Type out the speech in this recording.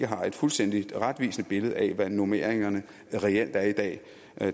har et fuldstændigt og retvisende billede af hvad normeringerne reelt er i dag